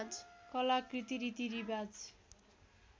कलाकृति रीतिरिवाज